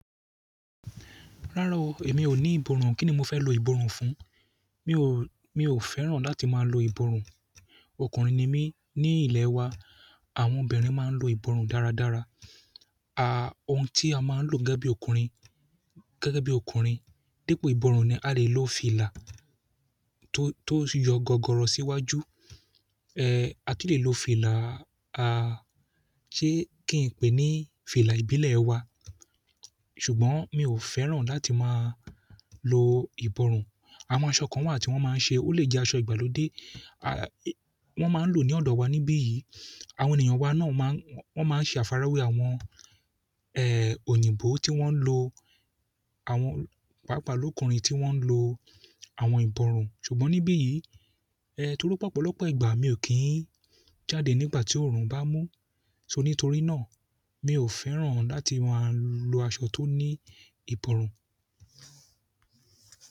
Rárá o, èmi ò ní ìbọrùn. Kíni mo fẹ́ lo ìbọrùn fún? Mi ò, mi ò fẹ́ràn láti máa lo ìbọrùn. Ọkùnrin ni mí. Ní ilẹ̀ wa, àwọn obìnrin máa ń lo ìbọrùn dáradára. À, ohun tí a máa ń lò gẹ́gẹ́ bí ọkùnrin, gẹ́gẹ́ bí ọkùnrin, dípò ìbọrùn ni a lè lo fìlà tó, tó yọ gọgọrọ síwájú. Eh, a tu lè lo fìlà, a, ṣé kí n pè é ní fìlà ìbílẹ̀ wa? Ṣùgbọ́n mi ò fẹ́ràn láti máa lo ìbọrùn. Àwọn aṣọ kan wà tí wọ́n máa ń ṣe, ó lè jẹ́ aṣọ ìgbàlódé. A, wọ́n máa ń lò ní ọ̀dọ̀ wa níbí yìí. Àwọn ènìyàn wa náà máa ń, wọ́n máa ń ṣe àfàrawé àwọn, ẹ, òyìnbó tí wọ́n lo àwọn, pàápàá lọ́kùnrin tí wọ́n ń lo àwọn ìbọrùn. Ṣùgbọ́n níbí yìí, ẹ, torí pé ọ̀pọ̀lọpọ̀ ìgbà mi ò kí ń jáde nígbà tí oòrùn bá mú. So nítorí náà, mi ò fẹ́ràn láti máa lo aṣọ tó ní ìbọrùn.